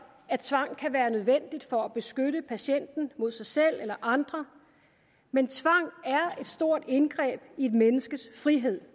at tvang kan være nødvendig for at beskytte patienten mod sig selv eller andre men tvang er stort indgreb i et menneskes frihed